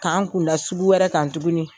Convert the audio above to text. K'an kun da sugu wɛrɛ kan tuguni.